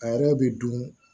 A yɛrɛ bɛ dun